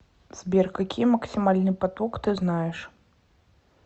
сбер какие максимальный поток ты знаешь